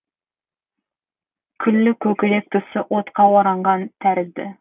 күллі көкірек тұсы отқа оранған тәрізді